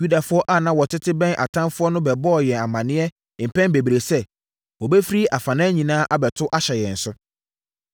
Yudafoɔ a na wɔtete bɛn atamfoɔ no bɛbɔɔ yɛn amaneɛ mpɛn bebree sɛ, “Wɔbɛfiri afanan nyinaa abɛto ahyɛ yɛn so.”